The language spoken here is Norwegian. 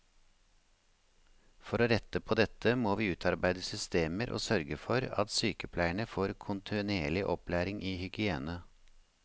For å rette på dette må vi utarbeide systemer og sørge for at sykepleierne får kontinuerlig opplæring i hygiene.